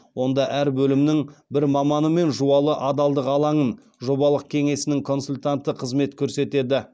онда әр бөлімнің бір маманы мен жуалы адалдық алаңы жобалық кеңсесінің консультанты қызмет көрсетеді